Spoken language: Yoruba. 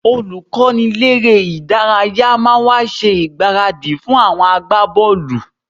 Olùkọ́niléré-ìdárayá máa wá ṣe ìgbáradì fún àwọn agbábọ́ọ̀lù